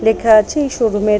লেখা আছে এই শো রুম এর --